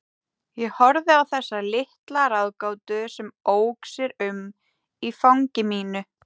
Ég horfði á þessa litla ráðgátu sem ók sér um í fangi mínu.